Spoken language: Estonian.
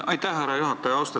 Aitäh, härra juhataja!